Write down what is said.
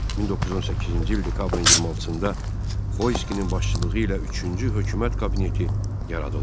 1918-ci il dekabrın 26-da Xoyskinin başçılığı ilə üçüncü hökumət kabineti yaradıldı.